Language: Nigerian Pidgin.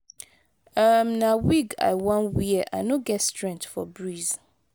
um na wig i wan wear i no get strength for breeze